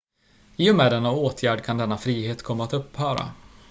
i och med denna åtgärd kan denna frihet komma att upphöra